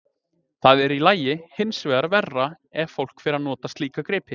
Það er í lagi, hinsvegar verra ef fólk fer að nota slíka gripi.